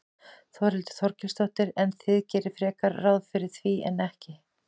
Þórhildur Þorkelsdóttir: En þið gerið frekar ráð fyrir því en ekki?